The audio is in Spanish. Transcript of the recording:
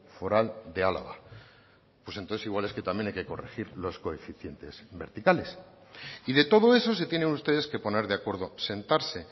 foral de álava pues entonces igual es que también hay que corregir los coeficientes verticales y de todo eso se tienen ustedes que poner de acuerdo sentarse